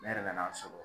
Ne yɛrɛ nan'a sɔrɔ